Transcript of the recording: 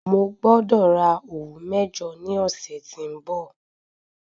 Mo gbọ́dọ̀ ra òwú mẹ́jọ ní ọ̀sẹ̀ tí ń bọ̀.